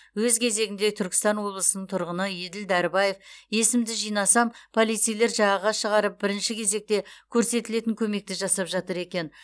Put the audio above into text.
өз кезегінде түркістан облысының тұрғыны еділ дәрібаев есімді жинасам полицейлер жағаға шығарып бірінші кезекте көрсетілетін көмекті жасап жатыр екен